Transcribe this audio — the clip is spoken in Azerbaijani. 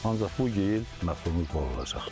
Ancaq bu il məhsulumuz bol olacaq.